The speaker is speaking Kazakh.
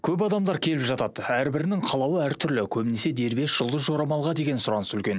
көп адамдар келіп жатады әрбірінің қалауы әртүрлі көбінесе дербес жұлдыз жорамалға деген сұраныс үлкен